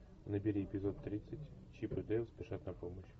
набери эпизод тридцать чип и дейл спешат на помощь